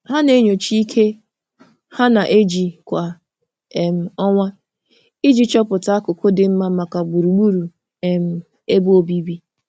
Ha na-enyocha ike ha na-eji kwa um ọnwa iji chọpụta akụkụ dị mma maka gbugburu um ebe obibi.